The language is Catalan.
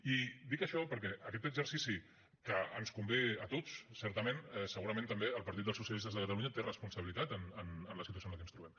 i dic això perquè aquest exercici que ens convé a tots certament segurament també el partit dels socialistes de catalunya té responsabilitats en la situació en la que ens trobem